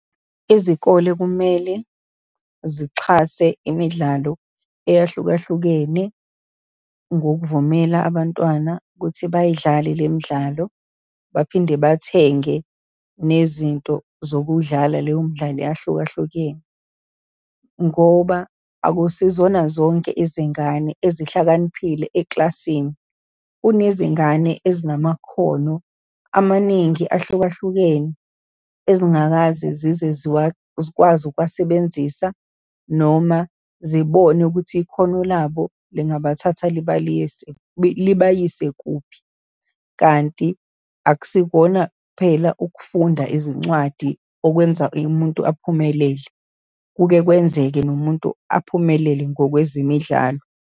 Izikole kumele zixhase imidlalo eyahlukahlukene, ngokuvumela abantwana ukuthi bayidlale le midlalo, baphinde bathenge nezinto zokuwudlala leyo midlalo eyahlukahlukene. Ngoba akusizona zonke izingane ezihlakaniphile ekilasini. Kunezingane ezinamakhono amaningi ahlukahlukene, ezingakaze zize zikwazi ukuwasebenzisa, noma zibone ukuthi ikhono labo lingabathatha libaliyise, libayise kuphi. Kanti akusikona kuphela ukufunda izincwadi okwenza umuntu aphumelele. Kuke kwenzeka nomuntu aphumelele ngokwezemidlalo.